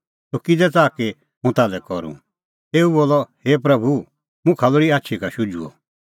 तूह किज़ै च़ाहा कि हुंह ताल्है करूं तेऊ बोलअ हे प्रभू मुखा लोल़ी आछी का शुझुअ